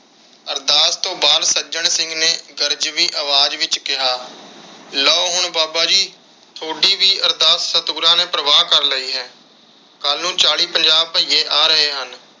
ਅਰਦਾਸ ਤੋਂ ਬਾਅਦ ਸੱਜਣ ਸਿੰਘ ਨੇ ਗਰਜਵੀ ਅਵਾਜ ਵਿਚ ਕਿਹਾ ਲੋ ਹੁਣ ਬਾਬਾ ਜੀ ਤੁਹਾਡੀ ਵੀ ਅਰਦਾਸ ਸਤਿਗੁਰਾਂ ਨੇ ਪ੍ਰਵਾਨ ਕਰ ਲਈ ਹੈ। ਕੱਲ ਨੂੰ ਚਾਲੀ ਪੰਜਾਹ ਬੱਇਏ ਆ ਰਹੇ ਹਨ।